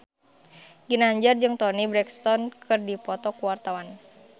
Ginanjar jeung Toni Brexton keur dipoto ku wartawan